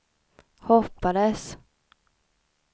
hoppades